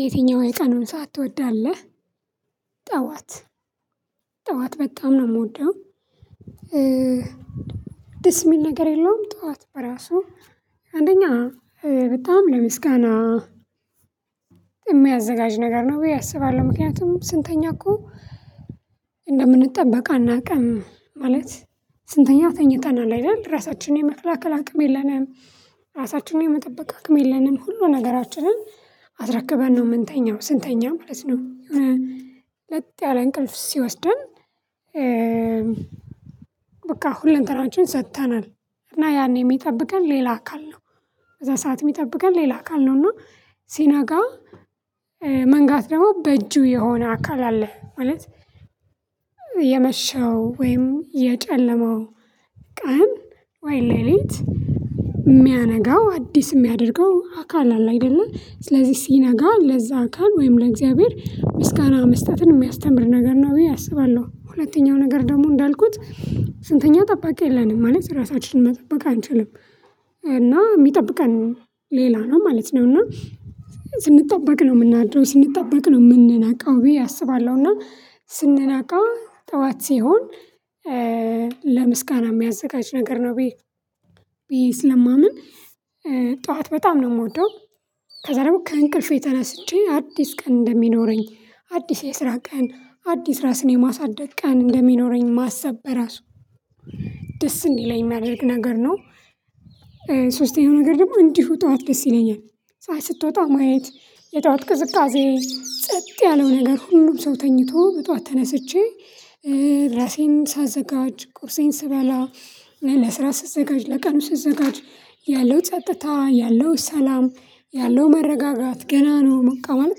የትኛው የቀኑን ሰዓት ትወዳለህ? ጠዋት፥ ጠዋት በጣም ነው ምወደው ደስ የሚል ነገር ያለውም ጠዋት በራሱ አንደኛ በጣም ለምስጋና የሚያዘጋጅ ነገር ነው ብዬ አስባለሁ። ምክንያቱም ስንተኛ እኮ እንደምንጠበቅ አናውቅም። ማለት ስንተኛ ተኝተናል አይደል? ራሳችንን የመከላከል አቅም የለንም፤ ራሳችንን የመጠበቅ አቅም የለንም፤ ሁሉ ነገራችንን አስረክበን ነው ምንተኛው ስንተኛ ማለት ነው። ለጥ ያለ እንቅልፍ ሲወስደን በቃ ሁለንተናችን ሰጥተናል እና ያኔ የሚጠብቀን ሌላ አካል ነው። በዛ ሰዓት የሚጠብቀን ሌላ አካል ነውና ሲናጋ መንጋት ደግሞ በእጁ የሆነ አካል አለ ማለት የመሸው ወይም የጨለመው ቀን ወይ ሌሊት ሚያነጋው አዲስ ሚያደርገው አካል አለ አይደለ? ስለዚህ ሲነጋ ለዛ አካል ወይም ለእግዚአብሔር ምስጋና መስጠትን የሚያስተምር ነገር ነው ብዬ አስባለሁ። ሁለተኛው ነገር ደግሞ እንዳልኩት ስንተኛ ጠባቂ የለንም ማለት ራሳችንን መጠበቅ አንችልም። እና ሚጠብቀን ሌላ ነው ማለት ነው እና ስንጠበቅ ነው ምናደርረው፤ ስንጠበቅ ነው ምንነቃው ብዬ አስባለሁ እና ስንነቃ ጠዋት ሲሆን ለምስጋና ሚያዘጋጅ ነገር ነው ብዬ ብዬ ስለማምን ጠዋት በጣም ነው ምወደው ከዛ ደግሞ ከእንቅልፌ ተነስቼ አዲስ ቀን እንደሚኖረኝ አዲስ የስራ ቀን አዲስ ራስን የማሳደግ ቀን እንደሚኖረኝ ማሰብ በራሱ ደስ እንዲለኝ የሚያደርግ ነገር ነው። ሶስተኛው ነገር ደግሞ እንዲሁ ጠዋት ደስ ይለኛል። ፀሀይ ስትወጣ ማየት፣ የጠዋት ቅዝቃዜ፣ ጸጥ ያለው ነገር ሁሉም ሰው ተኝቶ በጧት ተነስቼ ራሴን ሳዘጋጅ፣ ቁርሴን ስበላ፣ ለስራ ስዘጋጅ፣ ለቀኑ ስዘጋጅ ያለው ጸጥታ፣ ያለው ሰላም፣ ያለው መረጋጋት ገና ነው በቃ ማለት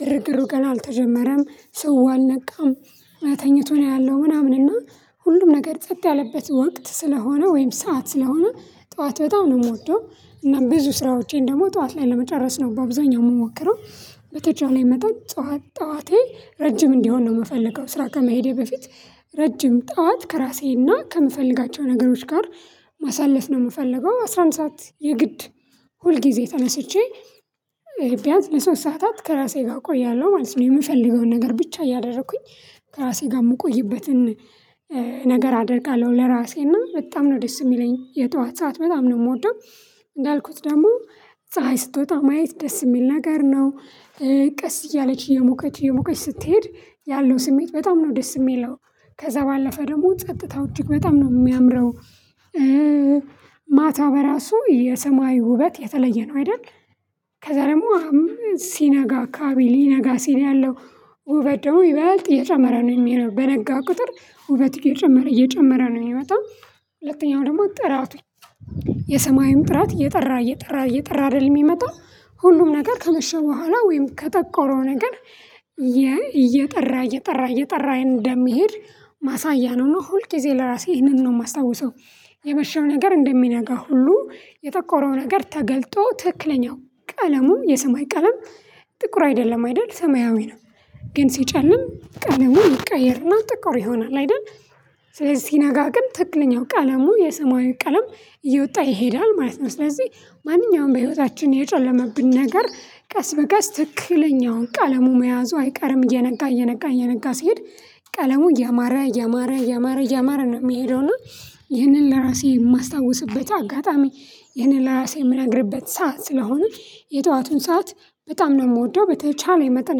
ግርግሩ ገና አልተጀመረም ሰው አልነቃም እና ተኝቶ ነው ያለው ምናምን እና ሁሉም ነገር ጸጥ ያለበት ወቅት ስለሆነ ወይም ሰዓት ስለሆነ ጠዋት በጣም ነው ምወደው እና ብዙ ስራዎቼን ደግሞ ጠዋት ላይ ለመጨረስ ነው በአብዛኛው ምሞክረው በተቻለኝ መጠጥ ጠዋት ጠዋቴ ረጅም እንዲሆን ነው ምፈልገው ስራ ከመሄዴ በፊት ረጅም ጠዋት ከራሴ እና ከምፈልጋቸው ነገሮች ጋር ማሳለፍ ነው ምፈልገው። አስራ አንድ ሰዓት የግድ ሁል ጊዜ ተነስቼ ቢያንስ ለሶስት ሰዓታት ከራሴ ጋር ቆያለሁ ማለት ነው የምፈልገውን ነገር ብቻ እያደረኩኝ ከራሴ ጋር ምቆይበትን ነገር አደርጋለሁ ለራሴ እና በጣም ነው ደስ የሚለኝ የጠዋት ሰዓት በጣም ነው የምወደው። እንዳልኩት ደግሞ ፀሀይ ስትወጣ ማየት ደስ የሚል ነገር ነው ቀስ እያለች እየሞቀች፣ እየሞቀች ስትሄድ ያለው ስሜት በጣም ነው ደስ የሚለው። ከዛ ባለፈ ደግሞ ጸጥታው እጅግ በጣም ነው የሚያምረው። በራሱ የሰማይ ውበት የተለየ ነው አይደል? ከዛ ደግሞ ሲነጋ አካባቢ ሊነጋ ሲል ያለው ውበት ደግሞ ይበጥ እየጨመረ ነው የሚሄደው። በነጋ ቁጥር ውበት እየጨመረ፣ እየጨመረ ነው የሚመጣው። ሁለተኛው ደግሞ ጥራቱ፥ የሰማዩ ጥራት እየጠራ፣ እየጠራ፣ እየጠራ አይደለ ሚመጣው? ሁሉም ነገር ከመሸ በኋላ ወይም ከጠቆረው ነገር እየጠራ፣ እየጠራ፣ እየጠራ እንደሚሄድ ማሳያ ነው እና ሁል ጊዜ ለራሴ ይህንን ነው የማስታውሰው። የመሸው ነገር እንደሚነጋ ሁሉ፥ የጠቆረው ነገር ተገልጦ ትክክለኛው ቀለሙን የሰማይ ቀለም ጥቁር አይደለም አይደል ሰማያዊ ነው። ግን ሲጨልም ቀለሙ ይቀየርና ጥቁር ይሆናል አይደል? ስለዚህ ሲነጋ ግን ትክክለኛው ቀለሙ የሰማዩ ቀለም እየወጣ ይሄዳል ማለት ነው። ስለዚህ ማንኛውም በህይወታችን የጨለመብን ነገር ቀስ በቀስ ትክክለኛውን ቀለሙ መያዙ አይቀርም እየነጋ፣ እየነጋ፣ እየነጋ ሲሄድ ቀለሙ እያማረ፣ እያማረ፣ እያማረ፣ እያማረ ነው የሚሄደው እና ይህንን ለራሴ የማስታውስበት አጋጣሚ ይህንን ለራሴ የምነግርበት ሰዓት ስለሆነ የጠዋቱን ሰዓት በጣም ነው የምወደው። በተቻለ መጠን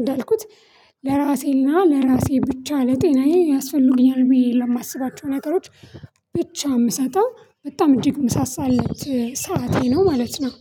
እንዳልኩት ለራሴና ለራሴ ብቻ ለጤናዬ ያስፈልጉኛል ብዬ ለማስባቸው ነገሮች ብቻ የምሰጠው በጣም እጅግ የምሳሳለት ሰዓቴ ነው ማለት ነው።